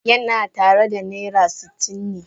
Yana tare da naira sitin na.